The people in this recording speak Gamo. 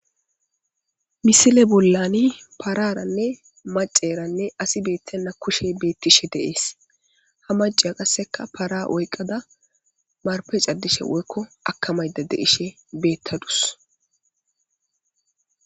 misile bollani paararanne maceranne asi beettenna kushe beettishe deees ha maciya qasseka para oyqqada marpe caddishe woykko akamayda deishe beettadus